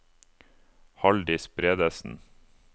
Halldis Bredesen